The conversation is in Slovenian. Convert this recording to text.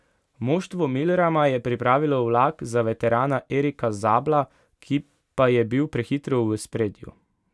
Moštvo Milrama je pripravilo vlak za veterana Erika Zabla, ki pa je bil prehitro v ospredju.